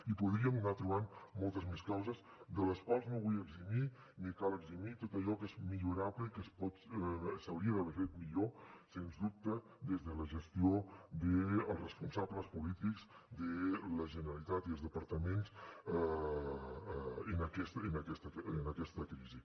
i podríem anar trobant moltes més causes de les quals no vull eximir ni cal eximir tot allò que és millorable i que s’hauria d’haver fet millor sens dubte des de la gestió dels responsables polítics de la generalitat i els departaments en aquesta crisi